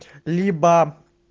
либо